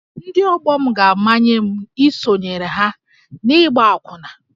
Ndị ọgbọ m ga-amanye m isonyere ha n’ịgba akwụna